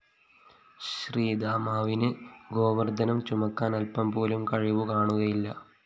ശ്രീദാമാവിന് ഗോവര്‍ദ്ധനം ചുമക്കാന്‍ അല്പംപോലും കഴിവുകാണുകയില്ല